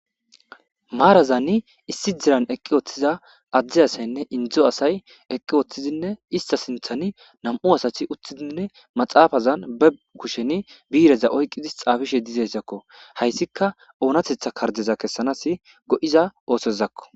Maarazanni issidiran eqqi ooththiza addi asaynne indzdzo asay eqqi ooththizinne istasinthani nam'u asati uttidinne maxaafazan bebkusheni biireza oyqqidis xaafishe dizesakko hayssika oonatetha kardeza kessanas go'iza oosezakko.